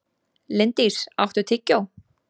Linddís, áttu tyggjó?